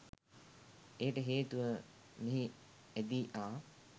එයට හේතුව මෙහි ඇදී ආ